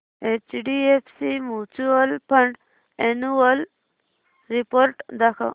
HDFC mutual fund annual report दाखव